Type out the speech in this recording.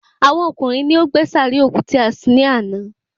Àwọn ọkùnrin ni wọ́n gbé sàárè òkú tí a sin ní àná